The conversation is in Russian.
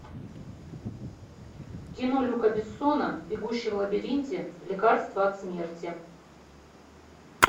кино люка бессона бегущий в лабиринте лекарство от смерти